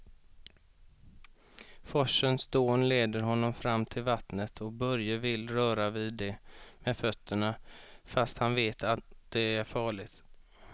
Forsens dån leder honom fram till vattnet och Börje vill röra vid det med fötterna, fast han vet att det är farligt.